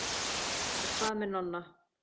Og hvað með Nonna?